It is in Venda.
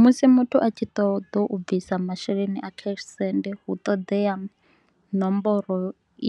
Musi muthu a tshi ṱoḓa u bvisa masheleni a cash send hu ṱoḓea nomboro